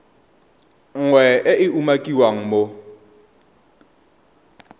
nngwe e e umakiwang mo